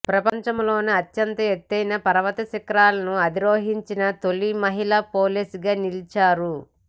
ప్రపంచంలోనే అత్యంత ఎత్తైన పర్వతశిఖరాలను అధిరోహించిన తొలి మహిళా పోలీసుగా నిలిచారు